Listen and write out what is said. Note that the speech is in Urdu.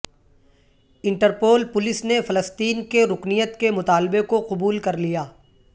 انٹرپول پولیس نے فلسطین کے رکنیت کے مطالبے کو قبول کر لیا